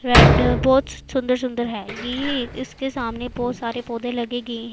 red बहोत सुंदर सुंदर है यही इसके सामने बहोत सारे पौधे लगे--